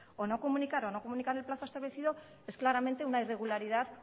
o no comunicar o no comunicar el plazo establecido es claramente una irregularidad